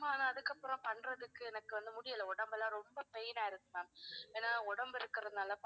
ஆனா அதுக்கப்பறம் பண்றதுக்கு எனக்கு வந்து முடியல உடம்பெல்லாம் ரொம்ப pain ஆ இருக்கு ma'am. ஏன்னா உடம்பு இருக்கதுனால,